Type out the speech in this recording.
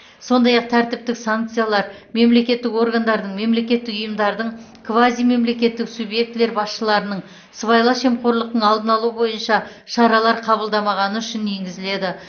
сондай ақ тәртіптік санкциялар мемлекеттік органдардың мемлекеттік ұйымдардың квазимемлекеттік субъектілер басшыларының сыбайлас жемқорлықтың алдын алу бойынша шаралар қабылдамағаны үшін енгізіледі